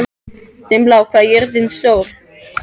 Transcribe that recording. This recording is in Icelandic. Dimmblá, hvað er jörðin stór?